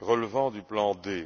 relevant du plan D.